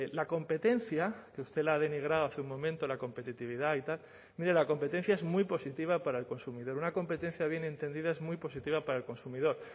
la competencia que usted la ha denigrado hace un momento la competitividad y tal mire la competencia es muy positiva para el consumidor una competencia bien entendida es muy positiva para el consumidor